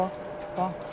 Bax.